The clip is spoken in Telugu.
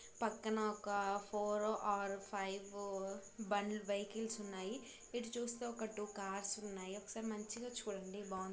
పక్కన ఒక ఫోర్ ఆర్ వైఫ్ బండి వెహికల్స్ ఉన్నాయి. ఇటు సైడు టూ కార్స్ ఉన్నాయి .ఒకసారి మంచిగా చూడండి బాగున్--